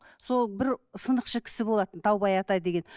сол бір сынықшы кісі болатын даубай ата деген